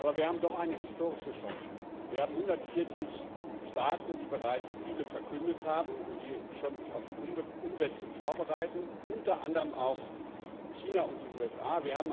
Aber wir haben doch eine historische Chance Wir haben 140 Staaten, die bereits Ziele verkündet haben und die sich schon auf die Umsetzung vorbereiten, unter anderen auch China und die USA.